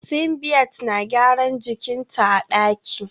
Simbiat na gyaran jikin ta a daki